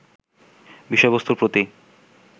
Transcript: বিষয়বস্তুর প্রতি